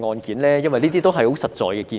這些都是很實在的建議。